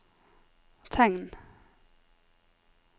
tegn